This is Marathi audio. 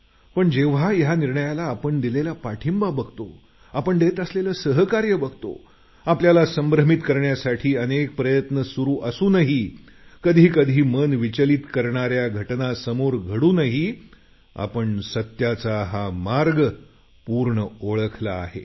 पण जेव्हा या निर्णयाला आपण दिलेला पाठिंबा बघतो आपण देत असलेलं सहकार्य बघतो आपल्याला संभ्रमित करण्यासाठी अनेक प्रयत्न सुरू असूनही कधी कधी मन विचलित करणाऱ्या घटना समोर घडूनही आपण सत्याचा हा मार्ग पूर्ण ओळखला आहे